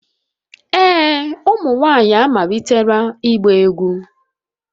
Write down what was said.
Ee, ụmụ nwanyị amalitela ịgba egwu